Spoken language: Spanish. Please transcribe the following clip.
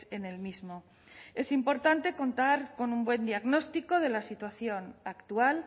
en el mismo es importante contar con un buen diagnóstico de la situación actual